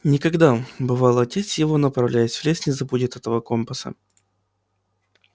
никогда бывало отец его направляясь в лес не забудет этого компаса